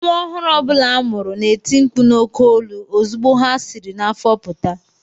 Nwa ọhụrụ ọ bụla a mụrụ na-eti mkpu n’oké olu ozugbo ha siri n’afọ pụta